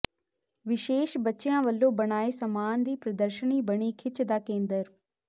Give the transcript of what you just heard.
ਵਿਸ਼ੇਸ਼ ਬੱਚਿਆਂ ਵੱਲੋਂ ਬਣਾਏ ਸਾਮਾਨ ਦੀ ਪ੍ਰਦਰਸ਼ਨੀ ਬਣੀ ਖ਼ਿੱਚ ਦਾ ਕੇਂਦਰ